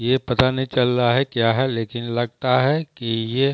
ये पता नहीं चल रहा है क्या है लेकिन लगता है कि ये --